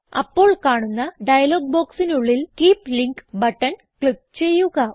അപ്പോൾ കാണുന്ന ഡയലോഗ് ബോക്സിനുള്ളിൽ കീപ് ലിങ്ക് ബട്ടൺ ക്ലിക്ക് ചെയ്യുക